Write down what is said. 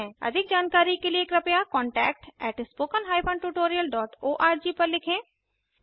अधिक जानकारी के लिए कृपया contactspoken tutorialorg पर लिखें